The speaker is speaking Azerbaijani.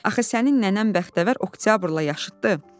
Axı sənin nənən bəxtəvər Oktyabrla yaşıddı.